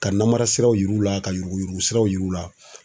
Ka namara siraw yir'u la ka yuruku yuruku siraw jir'u la.